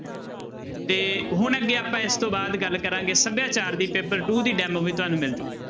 ਤੇ ਹੁਣ ਅੱਗੇ ਆਪਾਂ ਇਸ ਤੋਂ ਬਾਅਦ ਗੱਲ ਕਰਾਂਗੇ ਸਭਿਆਚਾਰ ਦੀ paper two ਦੀ demo ਵੀ ਤੁਹਾਨੂੰ ਮਿਲ ਜਾਊਗੀ।